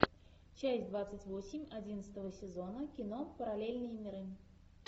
часть двадцать восемь одиннадцатого сезона кино параллельные миры